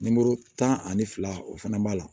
tan ani fila o fana b'a la